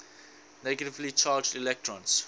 negatively charged electrons